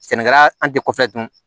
Sɛnɛkɛla an tɛ kɔfɛ dun